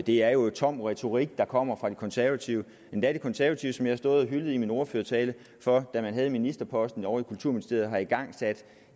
det er jo tom retorik der kommer fra de konservative endda de konservative som jeg har stået og hyldet i min ordførertale for da man havde ministerposten ovre i kulturministeriet at have igangsat